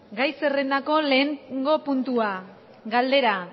gai zerrendako lehenengo puntua galdera